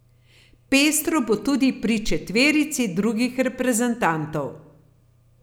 Pestro bo tudi pri četverici drugih reprezentantov.